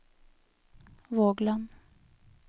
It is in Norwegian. Vågland